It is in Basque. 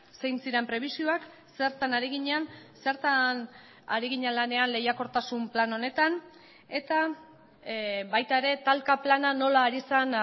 zein ziren prebisioak zertan ari ginen zertan ari ginen lanean lehiakortasun plan honetan eta baita ere talka plana nola ari zen